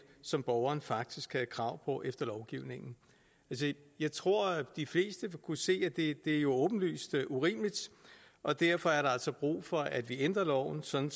som borgeren faktisk havde krav på efter lovgivningen jeg tror de fleste vil kunne se at det er åbenlyst urimeligt og derfor er der altså brug for at vi ændrer loven sådan